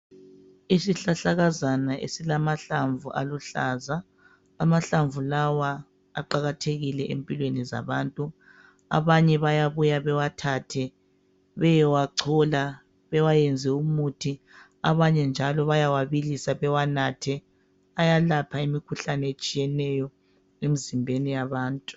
Isihlahlakazana esilamahlamvu aluhlaza. Amahlamvu lawa aqakathekile empilweni zabantu. Abanye bayabuya bewathatha beyewachola bewayenze umuthi abanye njalo bayawabilisa bewanathe ayelapha imikhuhlane etshiyeneyo emizimbeni yabantu.